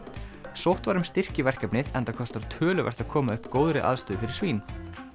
sótt var um styrki í verkefnið enda kostar töluvert að koma upp góðri aðstöðu fyrir svín